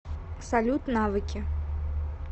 салют навыки